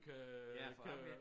Ja for jeg var ikke